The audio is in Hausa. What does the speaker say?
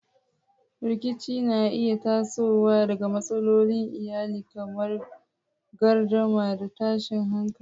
Rikici na iya tasowa daga matsalolin iyali kamar gardama da tashin hankali.